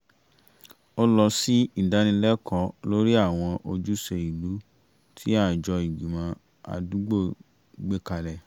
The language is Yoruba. ó lọ sí ìdánilẹ́kọ̀ọ́ lórí àwọn ojúṣe ìlú tí àjọ ìgbìmọ̀ àdúgbò gbé kalẹ̀